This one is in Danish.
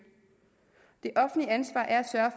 det offentlige ansvar er